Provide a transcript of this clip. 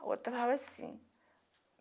A outra tava assim.